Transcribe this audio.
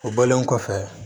O bɔlen kɔfɛ